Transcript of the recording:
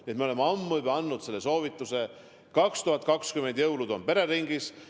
Nii et me oleme ammu juba andnud selle soovituse: 2020 jõulud on pereringis.